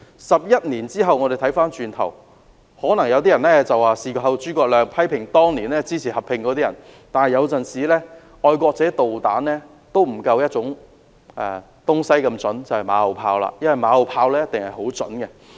在11年後，回望當年，可能有人會批評當年支持合併的人"事後諸葛亮"，但有時候"愛國者導彈"都不及"馬後炮"來得準確，因為"馬後炮"一定十分準確。